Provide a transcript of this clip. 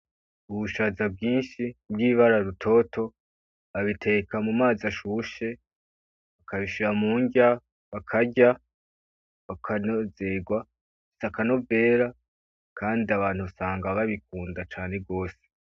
Ubushaza bwinshi bw'ibara rutoto babiteka mu mazi ashushe bakabishira murya bakarya bakanezegwa bifise akanovera kandi abantu usanga babikunda cane gwose.